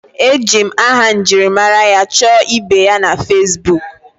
Eji m aha njirimara ya chọọ ibe ya na Facibuku